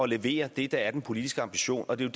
levere det der er den politiske ambition og det